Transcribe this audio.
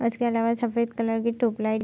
उसके आलावा सफेद कलर की ट्यूब लाइट --